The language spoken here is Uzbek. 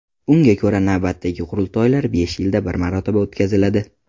Unga ko‘ra, navbatdagi qurultoylar besh yilda bir marotaba o‘tkaziladi.